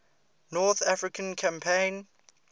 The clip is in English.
north african campaign